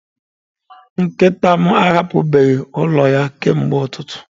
Nkịta m ahapụbeghị ụlọ ya kemgbe ụtụtụ.